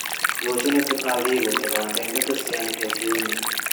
Rũciũ nĩtugathiĩ kũgetha mbembe tũcianĩke ciũme